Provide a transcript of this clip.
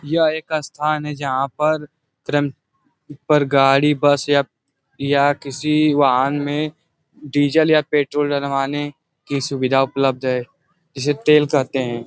यह एक स्थान है जहाँ पर क्रम पर गाडी बस या किसी वाहन में डीज़ल या पेट्रोल डलवाने की सुविधा उपलब्ध है जिसे तेल कहते है।